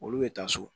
Olu bɛ taa so